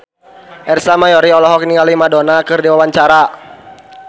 Ersa Mayori olohok ningali Madonna keur diwawancara